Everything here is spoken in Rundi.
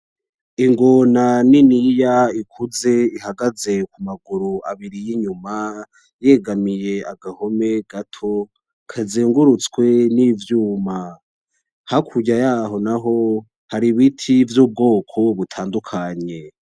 Ingona niniya ikuze ihagaze ku maguru abiri y' inyuma yegamiye agahome gato kazengurutswe n'ivyuma, hakurya yaho naho hari ibiti vy'ubwoko butandukanye.